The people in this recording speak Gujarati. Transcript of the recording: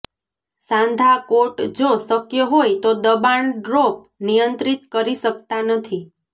સાંધા કોટ જો શક્ય હોય તો દબાણ ડ્રોપ નિયંત્રિત કરી શકતા નથી